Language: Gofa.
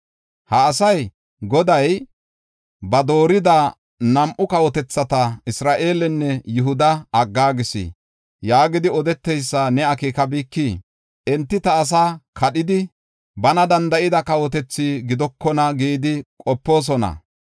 “Ha asay, ‘Goday ba doorida nam7u kawotethata, Isra7eelenne Yihuda aggaagis’ yaagidi odeteysa ne akeekabikii? Enti ta asaa kadhidi, bana danda7ida kawotethi gidokona gidi qopoosona.